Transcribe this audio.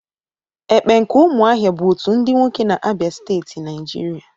Ekpe nke umuahia bu otu ndi nwoke na Abia Steeti, Naijiria,